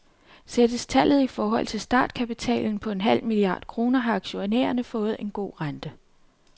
Sættes tallet i forhold til startkapitalen på en halv milliard kroner, har aktionærerne fået en god rente.